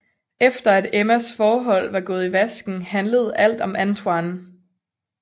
Efter at Emmas forhold var gået i vasken handlede alt om Antonie